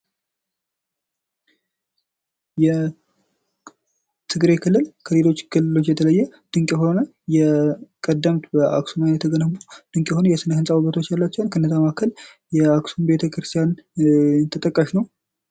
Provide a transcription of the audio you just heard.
የትግራይ ክልል ከሌሎች ክልሎች የተለየ ድንቅ የሆነ የቀደምት አክሱም እንዲሁም ድንቅ የሆነ የስነ ህንጻ ውበቶች አሏቸው ከነዛም መካከል የአክሱም ሀውልት ተጠቃሽ ነው።